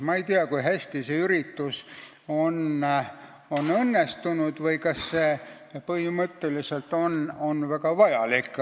Ma ei tea, kui hästi see on õnnestunud või kas see on põhimõtteliselt väga vajalik.